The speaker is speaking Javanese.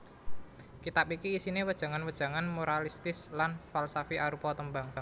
Kitab iki isiné wejangan wejangan moralistis lan falsafi arupa tembang